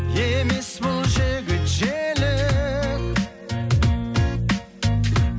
емес бұл жігіт желік